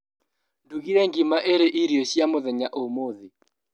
Ndugire ngima ĩrĩ irio cia mũthenya ũmũthĩ.